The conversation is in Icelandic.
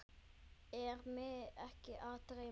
Er mig ekki að dreyma?